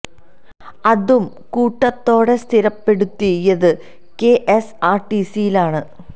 അതും കൂട്ടത്തോടെ സ്ഥിരപ്പെടുത്തിയത് K S R T C യിലാണ്